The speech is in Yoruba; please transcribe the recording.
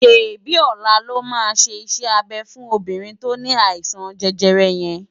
ṣébi ólá lò má ṣé isè-ábé fún óbirin tó ni áisan jèjèrè yén